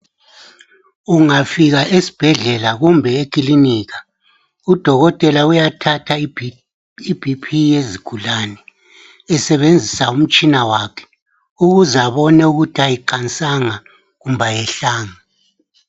Ungafika esibhedlela kumbe ekilinika udokotela uyathatha i"BP" yezigulane esebenzisa umtshina wakhe ukuze abone ukuthi ayiqansanga kumbe ayehlanga.